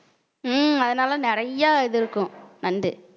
உம் அதனால நிறைய இது இருக்கும். நண்டு